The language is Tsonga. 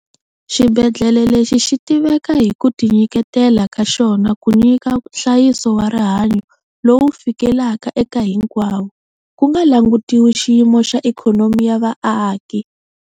Xibedlhele lexi xi tiveka hi ku tinyiketela ka xona ku nyika nhlayiso wa rihanyo lowu fikelelaka eka hinkwavo, ku nga langutiwi xiyimo xa ikhonomi ya vaaki.